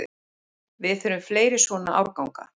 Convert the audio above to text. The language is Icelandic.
Við þurfum fleiri svona árganga